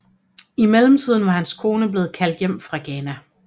I mellemtiden var hans kone blev kaldt hjem fra Ghana